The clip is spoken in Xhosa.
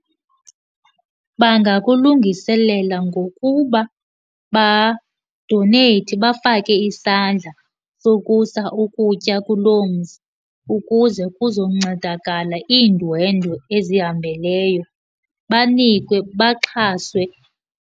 Bangakulungiselela ngokuba badoneyithe, bafake isandla sokusa ukutya kuloo mzi ukuze kuzoncedakala iindwendwe ezihambeleyo. Banikwe, baxhaswe.